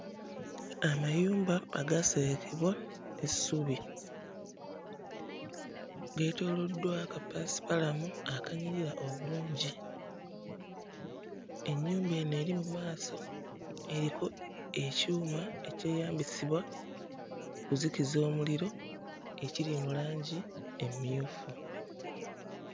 Amayumba agaaserekebwa essubi geetooloddwa kapaasipalamu akanyirira obulungi. Ennyumba eno eri mu maaso eriko ekyuma ekyeyambisibwa mu kuzikiza omuliro ekiri mu langi emmyufu.